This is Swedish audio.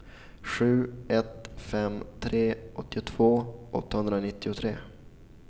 sju ett fem tre åttiotvå åttahundranittiotre